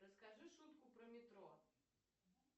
расскажи шутку про метро